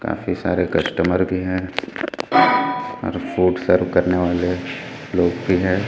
काफी सारे कस्टमर भी हैं और फूड सर्व करने वाले लोग भी हैं।